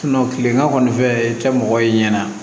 tilema kɔni fɛ i tɛ mɔgɔ ye ɲɛna